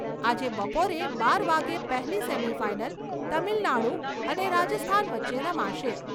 આજે બપોરે બાર વાગે પહેલી સેમિફાઈનલ તમિલનાડુ અને રાજસ્થાન વચ્ચે રમાશે.